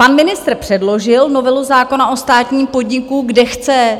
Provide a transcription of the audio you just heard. Pan ministr předložil novelu zákona o státním podniku, kde chce